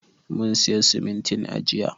Mun siya simintin a jiya.